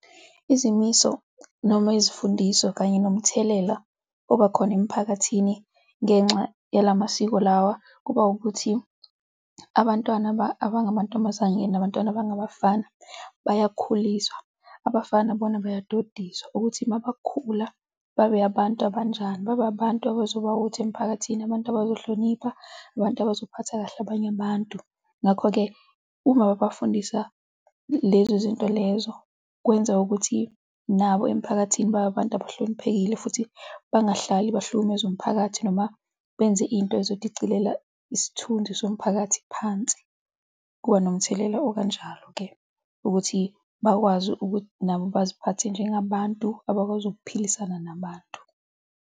Izimiso noma ezifundiso kanye nomthelela oba khona emphakathini ngenxa yala masiko lawa kuba ukuthi abantwana abangamantombazane nabantwana abangabafana bayakhuliswa. Abafana bona bayadodiswa ukuthi uma bakhula babe abantu abanjani, babe abantu abazoba utho emiphakathini, abantu abazohlonipha, abantu abazophatha kahle abanye abantu. Ngakho-ke, uma babafundisa lezo zinto lezo, kwenza ukuthi nabo emphakathini baybe abantu abahloniphekile futhi bangahlali bang'hlukumeze zomphakathi noma benze into eyodwa ezodicilela isithunzi somphakathi phansi. Kuba nomthelela okanjalo-ke ukuthi bakwazi ukuthi nabo baziphathe njengabantu abakwazi ukuphilisana nabantu.